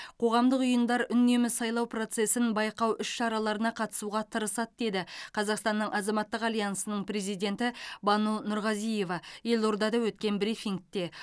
қоғамдық ұйымдар үнемі сайлау процесін байқау іс шараларына қатысуға тырысады деді қазақстанның азаматтық альянсының президенті бану нұрғазиева елордада өткен брифингте